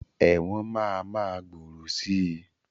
Ẹ̀wọ̀n máa ma gbòòrò sii